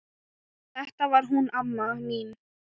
Þetta var hún amma mín.